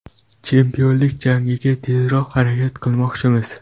Chempionlik jangiga tezroq harakat qilmoqchimiz.